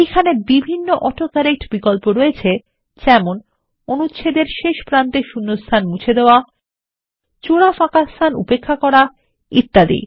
এইখানেবিভিন্ন autocorrect বিকল্প রয়েছে যেমন অনুচ্ছেদের শেষ ওপ্রারম্ভে শূণ্যস্থান মুছে ফেলুন জোড়া ফাঁকাস্থানউপেক্ষাকরা এবং ইত্যাদি